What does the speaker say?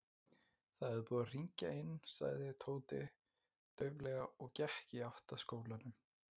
Það er búið að hringja inn sagði Tóti dauflega og gekk í átt að skólanum.